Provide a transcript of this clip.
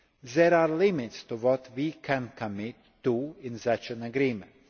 There are limits to what we can commit to in such an agreement.